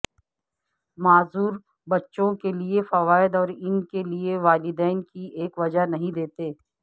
معذور بچوں کے لیے فوائد اور ان کے والدین کی ایک وجہ نہیں دیتے